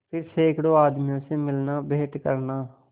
फिर सैकड़ों आदमियों से मिलनाभेंट करना